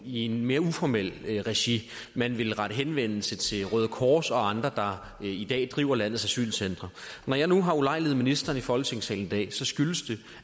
i en mere uformel regi man ville rette henvendelse til røde kors og andre der i dag driver landets asylcentre når jeg nu har ulejliget ministeren i folketingssalen i dag skyldes det